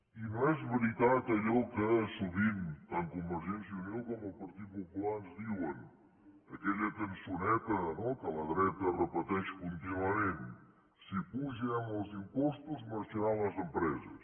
i no és veritat allò que sovint tant convergència i unió com el partit popular ens diuen aquella cançoneta no que la dreta repeteix contínuament si apugem els impostos marxaran les empreses